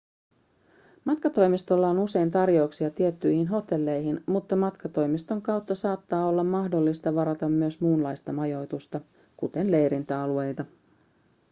matkatoimistoilla on usein tarjouksia tiettyihin hotelleihin mutta matkatoimiston kautta saattaa olla mahdollista varata myös muunlaista majoitusta kuten leirintäalueita